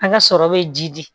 A ka sɔrɔ be ji di